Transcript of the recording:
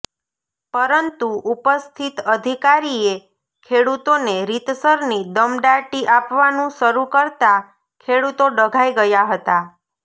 પરંતુ ઉપસ્થિત અધિકારીએ ખેડૂતોને રીતસરની દમદાટી આપવાનું શરૃ કરતા ખેડૂતો ડઘાઈ ગયા હતા